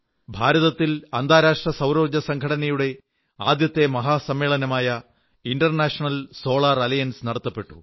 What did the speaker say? ഭാരതത്തിൽ അന്താരാഷ്ട്ര സൌരോർജ്ജ സംഘടനയുടെ ആദ്യത്തെ മഹാസമ്മേളനമായ ഇൻർനാഷണൽ സോളാർ അലയൻസ് നടന്നു